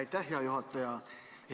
Aitäh, hea juhataja!